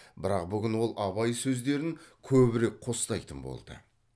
бірақ бүгін ол абай сөздерін көбірек қостайтын болды